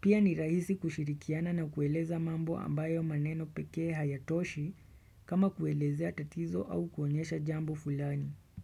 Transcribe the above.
Pia ni rahisi kushirikiana na kueleza mambo ambayo maneno peke hayatoshi kama kuelezea tatizo au kuonyesha jambo fulani.